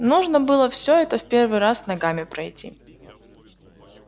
нужно было все это в первый раз ногами пройти